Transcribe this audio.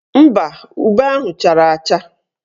Mba, ube ahụ chara acha.